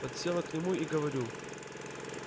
подсела к нему и говорю